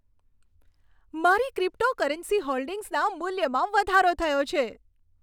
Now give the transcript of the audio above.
મારી ક્રિપ્ટોકરન્સી હોલ્ડિંગ્સના મૂલ્યમાં વધારો થયો છે.